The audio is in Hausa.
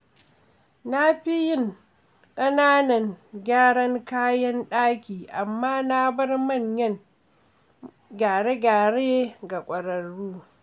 Na fi yin ƙananan gyaran kayan ɗaki amma na bar manyan gyare-gyare ga ƙwararru.